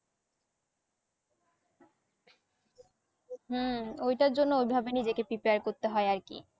হম ওই টার জন্য ওই ভাবে নিজেকে prepare করতে হয় আর কি